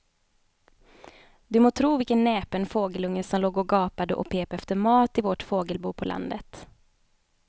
Du må tro vilken näpen fågelunge som låg och gapade och pep efter mat i vårt fågelbo på landet.